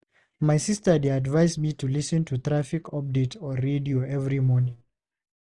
My sister dey advise me to lis ten to traffic updates on radio every morning.